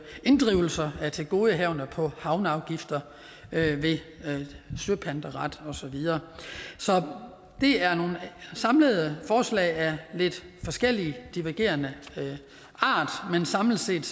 inddrivelse af tilgodehavender på havneafgifter ved søpanteret og så videre så det er nogle samlede forslag af lidt forskellig divergerende art men samlet set